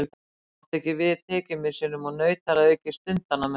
Hún mátti ekki við tekjumissinum og naut þar að auki stundanna með honum.